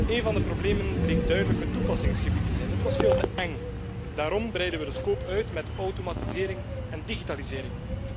Een van de problemen bleek duidelijk het toepassingsgebied te zijn dat was veel te eng. Daarom breiden we de reikwijdte uit met automatisering en digitalisering.